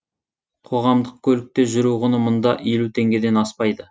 қоғамдық көлікте жүру құны мұнда елу теңгеден аспайды